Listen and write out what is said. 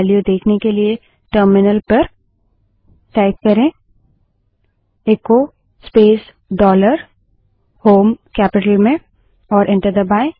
value देखने के लिए टर्मिनल पर echo space dollar h o m E terminal पर echo space dollar shell capital में टाइप करें और एंटर दबायें